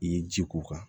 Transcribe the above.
I ye ji k'o kan